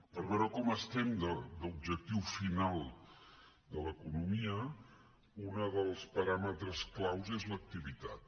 per veure com estem d’objectiu final de l’economia un dels paràmetres clau és l’activitat